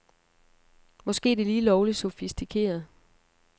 Måske er det lige lovligt sofistikeret.